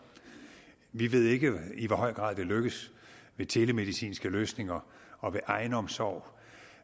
vi ved ikke i hvor høj grad det lykkes ved telemedicinske løsninger og ved egenomsorg